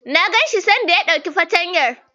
Na ganshi sanda ya dauki fartanyar.